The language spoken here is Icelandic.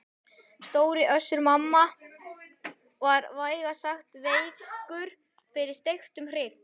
Stóri Össur-Mamma var vægast sagt veikur fyrir steiktum hrygg.